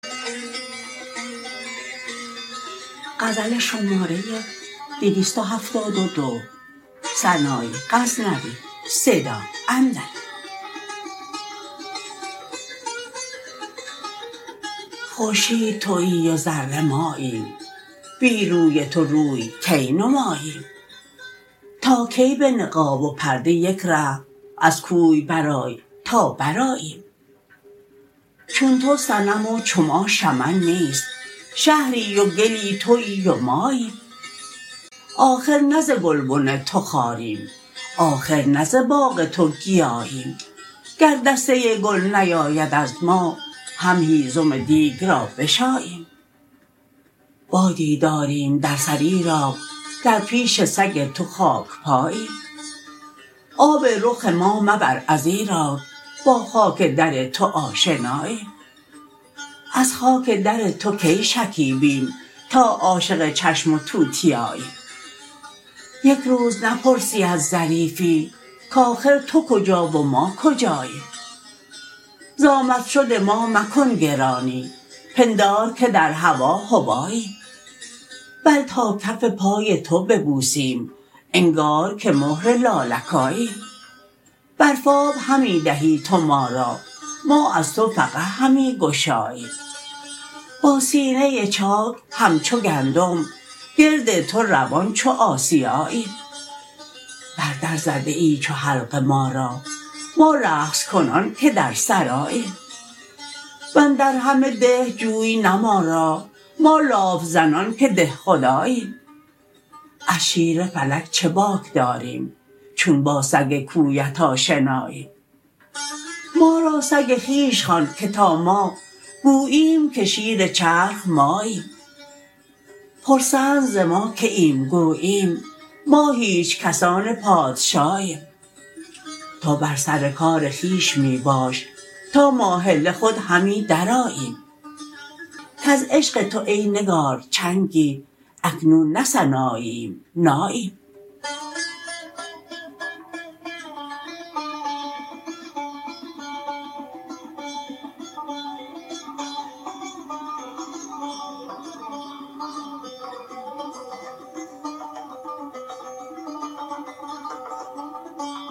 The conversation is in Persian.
خورشید تویی و ذره ماییم بی روی تو روی کی نماییم تا کی به نقاب و پرده یک ره از کوی برآی تا برآییم چون تو صنم و چو ما شمن نیست شهری و گلی تویی و ماییم آخر نه ز گلبن تو خاریم آخر نه ز باغ تو گیاییم گر دسته گل نیاید از ما هم هیزم دیگ را بشاییم بادی داریم در سر ایراک در پیش سگ تو خاکپاییم آب رخ ما مبر ازیراک با خاک در تو آشناییم از خاک در تو کی شکیبیم تا عاشق چشم و توتیاییم یک روز نپرسی از ظریفی کاخر تو کجا و ما کجاییم زامد شد ما مکن گرانی پندار که در هوا هباییم بل تا کف پای تو ببوسیم انگار که مهر لالکاییم برف آب همی دهی تو ما را ما از تو فقع همی گشاییم با سینه چاک همچو گندم گرد تو روان چو آسیاییم بر در زده ای چو حلقه ما را ما رقص کنان که در سراییم وندر همه ده جوی نه ما را ما لاف زنان که ده خداییم از شیر فلک چه باک داریم چون با سگ کویت آشناییم ما را سگ خویش خوان که تا ما گوییم که شیر چرخ ماییم پرسند ز ما که اید گوییم ما هیچ کسان پادشاییم تو بر سر کار خویش می باش تا ماهله خود همی درآییم کز عشق تو ای نگار چنگی اکنون نه سناییم ناییم